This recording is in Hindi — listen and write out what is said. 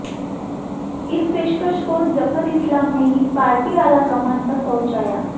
इस पेशकश को जफर इस्लाम ने ही पार्टी आलाकमान तक पहुंचाया